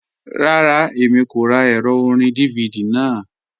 Rárá, Èmi kò rá ẹrọ̀ orín DVD náà.